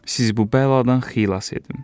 Sizi bu bəladan xilas edim.